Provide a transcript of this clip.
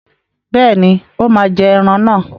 Bẹ́ẹ̀ni, ó máa jẹ́ ẹran náà.